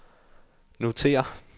notér